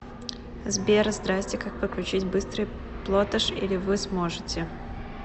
сбер здрасти как подключить быстрый плотеш или вы сможете